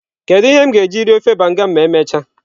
Kedu ihe m ga-eji rie ofe banga m ma emechaa?